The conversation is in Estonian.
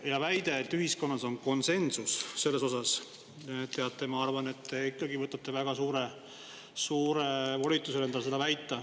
Väide, et ühiskonnas on konsensus selles osas – teate, ma arvan, et te võtate endale väga suure volituse seda väita.